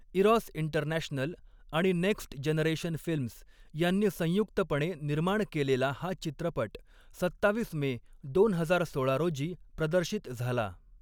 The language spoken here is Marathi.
इरॉस इंटरनॅशनल' आणि 'नेक्स्ट जनरेशन फिल्म्स' यांनी संयुक्तपणे निर्माण केलेला हा चित्रपट सत्तावीस मे दोन हजार सोळा रोजी प्रदर्शित झाला.